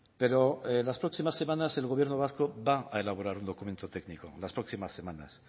pero en las próximas semanas el gobierno vasco va a elaborar un documento técnico las próximas semanas